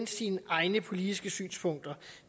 sine egne politiske synspunkter